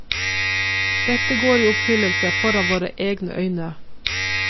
Dette går i oppfyllelse foran våre egne øyne.